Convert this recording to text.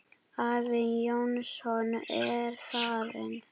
Afi Jónsson er farinn.